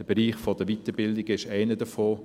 Der Bereich der Weiterbildungen ist einer davon.